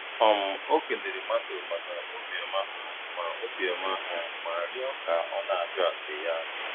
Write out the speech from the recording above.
um Ọ kelere mmadụ maka obiọma ha ma obiọma ha ma rịọ ka ọ na - ajụ ase ya.